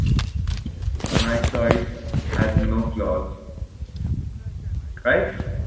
my choice has no flows right